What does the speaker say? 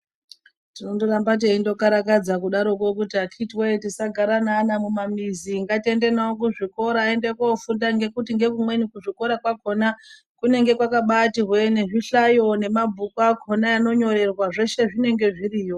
Tinondoramba teindokarakadza kuti akhiti woye kuti tisagara neana mumamizi ngatiende navo kuzvikora koofunda ngekuti ngezvimweni kuchikora kwakhona kunenge kwakabaati hwee ngezvihlayo nemabhuku akhona anonyorerwa zveshe zvinenge zviriyo.